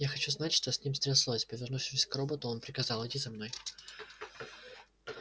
я хочу знать что с ним стряслось повернувшись к роботу он приказал иди за мной